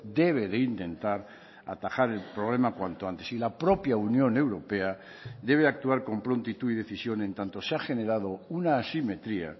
debe de intentar atajar el problema cuanto antes y la propia unión europea debe actuar con prontitud y decisión en tanto se ha generado una asimetría